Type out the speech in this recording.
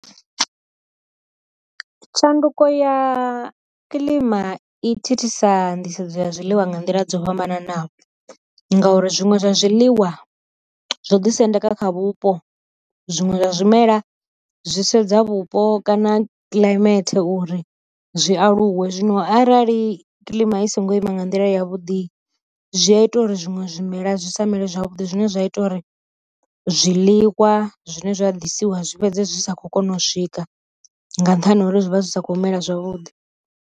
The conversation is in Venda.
Tshanduko ya kiḽima i thithisa nḓisedzo ya zwiḽiwa nga nḓila dzo fhambananaho ngauri zwiṅwe zwa zwiḽiwa zwo ḓi sendeka kha vhupo, zwiṅwe zwa zwimela zwi sedza vhupo kana kiḽaimele uri zwi aluwe, zwino arali kiḽima i songo ima nga nḓila ya vhuḓi zwi a ita zwiṅwe zwimela zwi sa mele zwavhuḓi zwine zwa ita uri zwiḽiwa zwine zwa ḓisiwa zwi fhedze zwi sa khou kona u swika nga nṱhani ha uri zwi vha zwi sa kho mela zwavhuḓi.